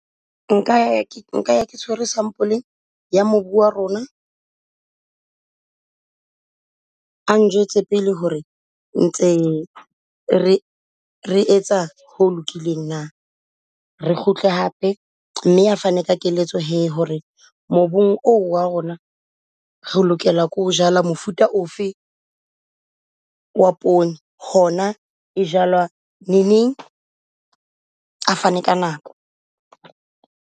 Nka ya, nka ya ke tshwere sampole ya mobu ba rona, a njwetse pele ho re ntse re re etsa ho lokileng na? Re kgutle hape mme a fane ka keletso hee ho re mobung oo wa rona, re lokela ke ho jala mofuta ofe wa poone. Hona e jalwa neneng a fane ka nako?